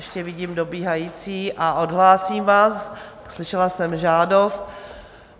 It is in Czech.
Ještě vidím dobíhající a odhlásím vás, slyšela jsem žádost.